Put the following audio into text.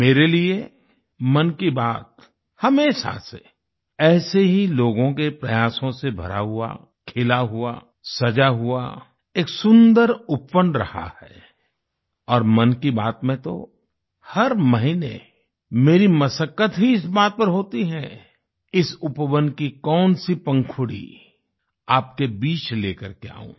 मेरे लिए मन की बात हमेशा से ऐसे ही लोगों के प्रयासों से भरा हुआ खिला हुआ सजा हुआ एक सुन्दर उपवन रहा है और मन की बात में तो हर महीने मेरी मशक्कत ही इस बात पर होती है इस उपवन की कौन सी पंखुड़ी आपके बीच लेकर के आऊं